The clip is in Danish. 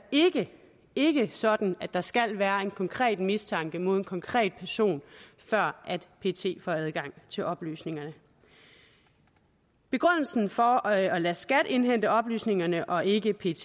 ikke sådan at der skal være en konkret mistanke mod en konkret person før pet får adgang til oplysningerne begrundelsen for at lade skat indhente oplysningerne og ikke pet